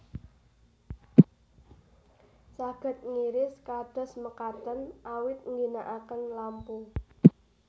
Saged ngiris kados mekaten awit ngginakaken lampu